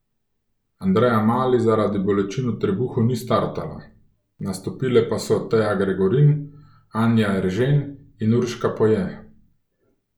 Andreja Mali zaradi bolečin v trebuhu ni startala, nastopile pa so Teja Gregorin, Anja Eržen in Urška Poje.